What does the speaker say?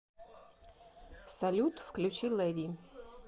салют включи лэди